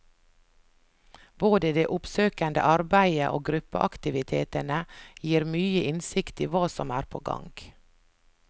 Både det oppsøkende arbeidet og gruppeaktivitetene gir mye innsikt i hva som er på gang.